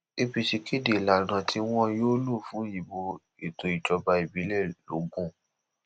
apc kéde ìlànà tí wọn yóò lò fún ìbò ètò ìjọba ìbílẹ logun